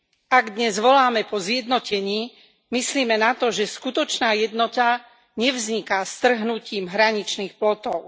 Ak dnes voláme po zjednotení, myslime na to, že skutočná jednota nevzniká strhnutím hraničných plotov.